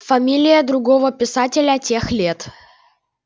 фамилию другого писателя тех лет